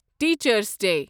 teachers day